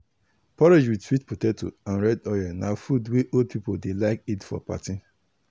porridge with sweet potato and red oil na food wey old people dey like eat for party.